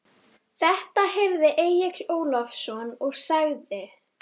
Þetta heyrði Egill Ólafsson og sagði